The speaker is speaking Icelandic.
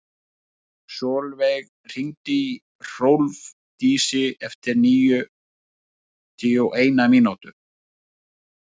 Solveig, hringdu í Hrólfdísi eftir níutíu og eina mínútur.